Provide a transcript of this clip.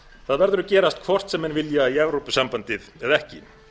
það verður að gerast hvort sem menn vilja í evrópusambandið eða ekki